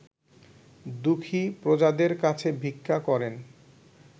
দুঃখী প্রজাদের কাছে ভিক্ষা করেন